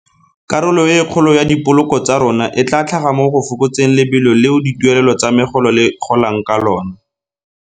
Karolo e kgolo ya dipoloko tsa rona e tla tlhaga mo go fokotseng lebelo leo dituelelo tsa megolo le golang ka lona.